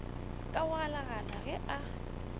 ka go galagala ge a